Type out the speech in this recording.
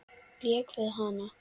Lék við hana.